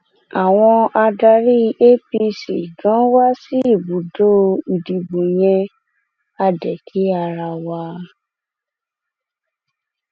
àwọn adarí apc ganan wá sí ibùdó ìdìbò yẹn á dé kí ara wa